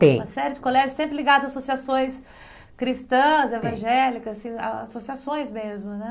Tem uma série de colégios sempre ligados a associações cristãs, evangélicas, assim associações mesmo, né?